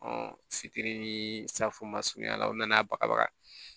fitiri ni safunɛ surunya la u nana bagabaga